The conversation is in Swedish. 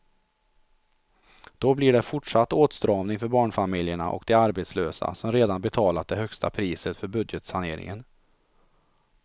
Då blir det fortsatt åtstramning för barnfamiljerna och de arbetslösa som redan betalat det högsta priset för budgetsaneringen.